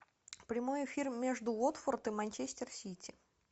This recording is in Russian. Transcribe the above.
прямой эфир между уотфорд и манчестер сити